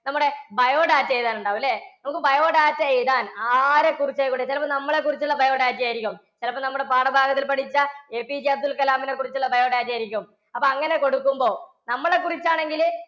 നമ്മുടെ biodata എഴുതാൻ ഉണ്ടാകും അല്ലേ? നമുക്ക് biodata എഴുതാൻ. ആരെക്കുറിച്ചാ? ഇവിടെ ചിലപ്പോൾ നമ്മളെ കുറിച്ചുള്ള biodata ആയിരിക്കും. ചിലപ്പോൾ നമ്മുടെ പാഠഭാഗത്തിൽ പഠിച്ച APJ അബ്ദുൽ കലാമിനെ കുറിച്ചുള്ള biodata ആയിരിക്കും. അപ്പോൾ അങ്ങനെ കൊടുക്കുമ്പോൾ നമ്മളെക്കുറിച്ച് ആണെങ്കിൽ